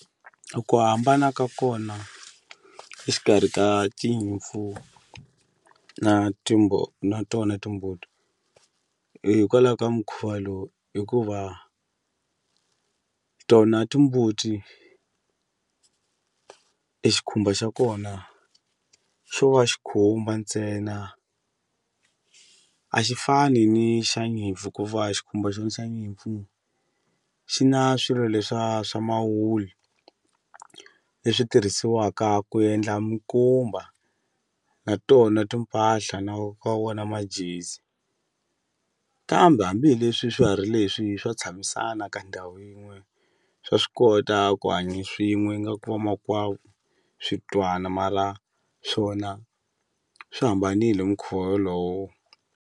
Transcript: A ku hambana ka kona exikarhi ka tinyimpfu na na tona timbuti hikwala ka mukhuva lowu hikuva tona timbuti e xikhumba xa kona xo va xikhumba ntsena a xi fani ni xa nyimpfu ku va xikhumba xo xa nyimpfu xi na swilo leswa swa mawulu leswi tirhisiwaka ku endla minkumba natona timpahla na ka wona majezi kambe hambi hi leswi swiharhi leswi swa tshamisana ka ndhawu yin'we swa swi kota ku hanya swin'we ingaku i vamakwavo swi twana mara swona swi hambanile hi mukhuva wolowo.